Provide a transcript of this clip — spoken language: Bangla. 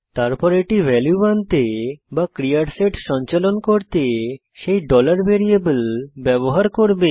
তারপর এটি ভ্যালু আনতে বা ক্রিয়ার সেট সঞ্চালন করতে সেই variable ব্যবহার করবে